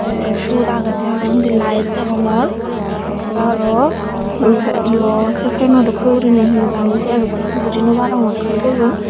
tay siyot agede aro undi light degongor tay aro yo sey feno dokke gurine hee jani siyan bujinobarongor hee toyon.